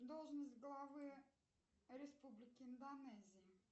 должность главы республики индонезия